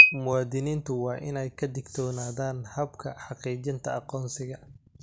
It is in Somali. Muwaadiniintu waa in ay ka digtoonaadaan habka xaqiijinta aqoonsiga.